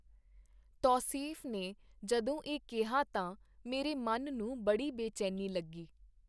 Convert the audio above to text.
ਤੌਸੀਫ਼ ਨੇ ਜਦੋਂ ਇਹ ਕਿਹਾ ਤਾਂ ਮੇਰੇ ਮਨ ਨੂੰ ਬੜੀ ਬੇਚੈਨੀ ਲੱਗੀ.